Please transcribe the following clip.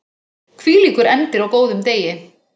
Hvílíkur endir á góðum degi!